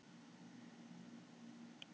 Ingmar, hvernig er veðurspáin?